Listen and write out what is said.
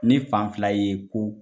Ni fan fila ye ko